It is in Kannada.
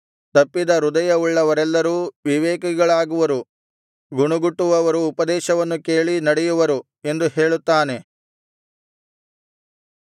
ತಪ್ಪಿದ ಹೃದಯವುಳ್ಳವರೆಲ್ಲರೂ ವಿವೇಕಿಗಳಾಗುವರು ಗುಣಗುಟ್ಟುವವರು ಉಪದೇಶವನ್ನು ಕೇಳಿ ನಡೆಯುವರು ಎಂದು ಹೇಳುತ್ತಾನೆ